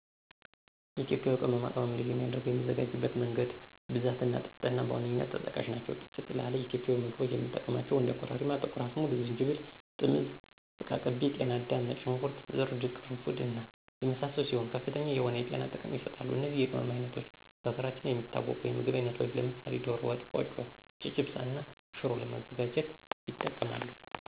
ኢትዮጵያ ቅመማ ቅመም ልዩ የሚያደረገው የሚዘጋጅበት መንገድ፣ ብዛት እና ጥፍጥና በዋነኛነት ተጠቃሽ ናቸው። ጥፍጥ ላለ ኢትዮጵያዊ ምግቦች የምንጠቀማቸው እንደ ኮረሪማ፣ ጥቁር አዝሙድ፣ ዝንጅብል፣ ጥምዝ፣ ዝቃቅቤ፣ ጤናዳም፣ ነጭ ሾንኩርት፣ እርድ፣ ቅርንፉድ እና የመሳሰሉት ሲሆኑ ከፍተኛ የሆነ የጤና ጥቅም ይሰጣሉ። እነዚህ የቅመም አይነቶች በሀገራችን የሚታወቁ የምግብ አይነቶች ለምሳሌ ደሮ ወጥ፣ ቆጮ፣ ጨጨብሳ እና ሽሮ ለማዘጋጀት ይጠቅማሉ።